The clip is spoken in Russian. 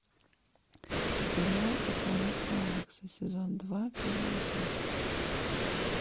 сериал корпорация алекса сезон два первая часть